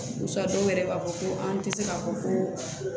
Basa dɔw yɛrɛ b'a fɔ ko an tɛ se k'a fɔ ko